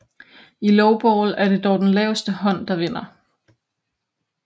I lowball er det dog den laveste hånd der vinder